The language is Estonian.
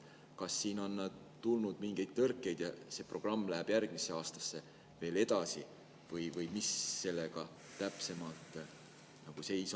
Kas on tulnud mingeid tõrkeid ja see programm läheb järgmisel aastal veel edasi või mis seis sellega täpsemalt on?